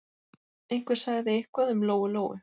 Einhver sagði eitthvað um Lóu-Lóu.